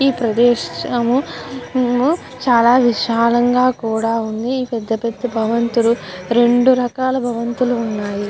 ఈ ప్రదేశం ప్రదేశము చాలా విశాలంగా కూడా ఉంది. ఈ పెద్ద పెద్ద భవంతులు రెండు రకాల భవంతులు ఉన్నాయి.